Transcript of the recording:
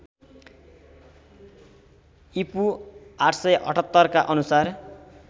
ईपू ८७८ का अनुसार